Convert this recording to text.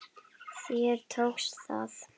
Þér tókst það!